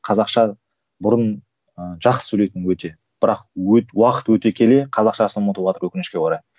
қазақша бұрын ыыы жақсы сөйлейтін өте бірақ уақыт өте келе қазақшасын ұмытыватыр өкінішке орай